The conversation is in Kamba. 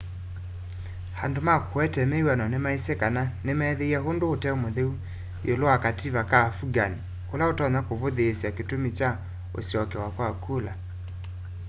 andu ma kuete wiw'ano maisye kana nimeethiie undu ute mutheu iulu wa kativa ka afghan ula utonya kuvuthiisya kitumi kya usyokewa kwa kula